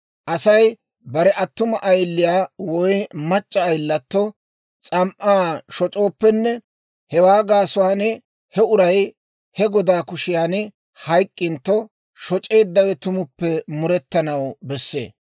«Asay bare attuma ayiliyaa woy mac'c'a ayilatto s'am"an shoc'ooppenne hewaa gaasuwaan he uray he godaa kushiyaan hayk'k'intto, shoc'eeddawe tumuppe murettanaw bessee.